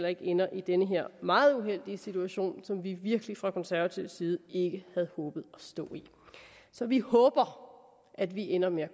ikke ender i den her meget uheldige situation som vi virkelig fra konservativ side ikke havde håbet at stå i så vi håber at vi ender med